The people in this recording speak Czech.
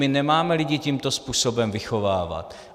My nemáme lidi tímto způsobem vychovávat.